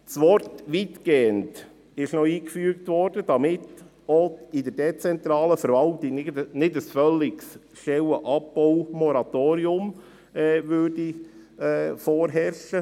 Der Begriff «weitgehend» wurde eingefügt, damit auch in der dezentralen Verwaltung nicht ein völliges Stellenabbaumoratorium vorherrscht.